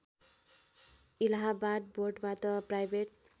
इलाहावाद बोर्डबाट प्राइभेट